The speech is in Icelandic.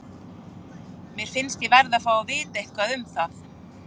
Mér finnst ég verði að fá að vita eitthvað um það.